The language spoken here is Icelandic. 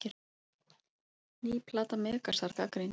Ný plata Megasar gagnrýnd